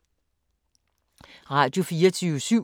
Radio24syv